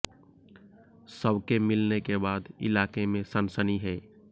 शव के मिलने के बाद इलाके में सनसनी है